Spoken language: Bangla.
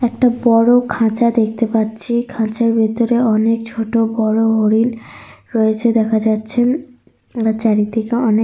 একটা বড় খাঁচা দেখতে পাচ্ছি। খাঁচার ভিতরে অনেক ছোট বড় হরিণ রয়েছে দেখা যাচ্ছে। চারিদিকে অনেক --